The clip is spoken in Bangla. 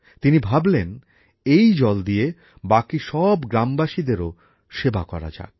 তিনি ভাবলেন এই জল দিয়ে বাকি সব গ্রামবাসীদেরও সেবা করা যাক